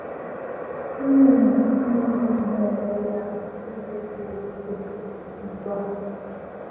Gịnị mere Chineke ji na - ele ihe anya n’ụzọ siri ike otú a?